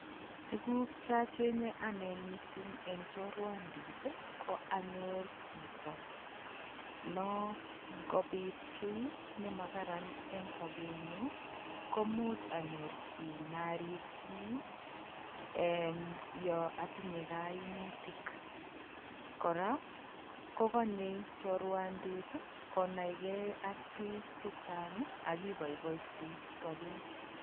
Tuguk chochenge ane mising eng choruandit ko anyor chito no angopit kiy ne makaran en sobenyu komuch anyor chi narirchini ee yo atinye kaimutik. Kora kokonyei choruandit konai ge ak biik chechang ak iboiboenchi sobet